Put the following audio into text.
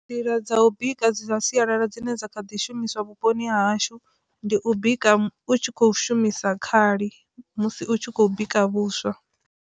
Nḓila dza u bika dza sialala dzine dza kha ḓi shumiswa vhuponi hashu ndi u bika u tshi kho shumisa khali musi u tshi khou bika vhuswa.